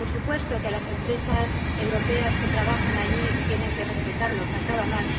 Por supuesto que las empresas europeas que trabajan allí tienen que respetarlo —¡faltaría más!—,